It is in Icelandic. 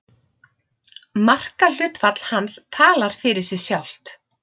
Markahlutfall hans talar fyrir sig sjálft.